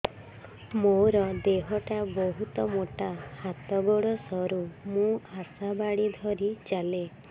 ମୋର ଦେହ ଟା ବହୁତ ମୋଟା ହାତ ଗୋଡ଼ ସରୁ ମୁ ଆଶା ବାଡ଼ି ଧରି ଚାଲେ